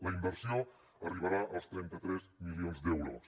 la inversió arribarà als trenta tres milions d’euros